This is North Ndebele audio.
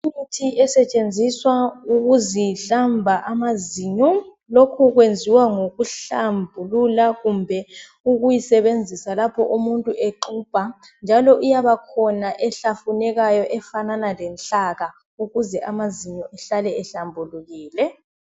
Imithi esetshenziswa ukuzihlamba amazinyo, lokho kwenziwa ngokuhlambulula kumbe ukuyisebenzisa lapho umuntu exubha njalo iyabakhona ehlafunekayo efanana lenhlaka ukuze amazinyo ehlale ehlambulukile